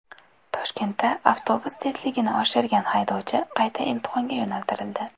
Toshkentda avtobus tezligini oshirgan haydovchi qayta imtihonga yo‘naltirildi.